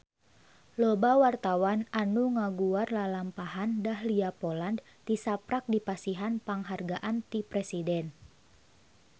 Loba wartawan anu ngaguar lalampahan Dahlia Poland tisaprak dipasihan panghargaan ti Presiden